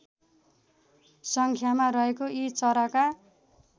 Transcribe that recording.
सङ्ख्यामा रहेको यी चराका